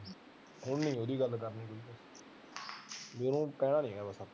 ਹੁਣ ਨੀ ਉਹਦੀ ਗੱਲ ਉਹਨੂੰ ਕਹਿਣਾ ਨੀ ਬਸ ਆਪਾ